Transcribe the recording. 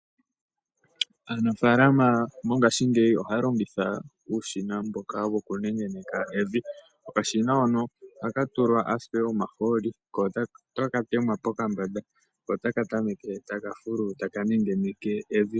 Aanafalama mongashingeyi ohaya longitha uushina mboka wokunengeneka evi. Okashina hono ohaka tulwa ashike omahooli ko otaka dhengwa pokambanda ko otaka tameke taka fulu taka nengeneke evi.